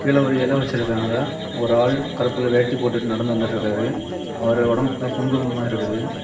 இதுல ஒரு இலை வச்சிருக்காங்க ஒரு ஆளு கருப்பு கலர் வேட்டிய போட்டுட்டு நடந்து வந்துட்டுறுக்கிராரு அவரு உடம்பு ஃபுல்லா குங்குமமா இருக்குது.